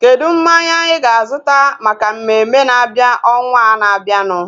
Kedụ mmanya anyị ga-azuta maka mmemme na-abịa ọnwaa na-abianu?